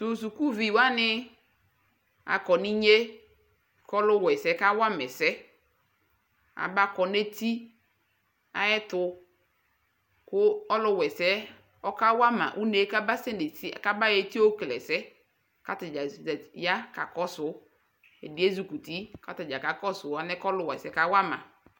Tʋ sukuvi wanɩ akɔ nʋ inye kʋ ɔlʋwaɛsɛ yɛ kawa ma ɛsɛ Abakɔ nʋ eti ayɛtʋ Kʋ ɔlʋwaɛsɛ ɔkawama une kʋ abasɛ nʋ eti yɛ abayɔ eti yɛ yɔkele ɛsɛ yɛ kʋ ata dza zat ya kakɔsʋ Ɛdɩ ezi kuti kʋ ata dza kakɔsʋ alɛna yɛ ɔlʋwaɛsɛ yɛ kawa ma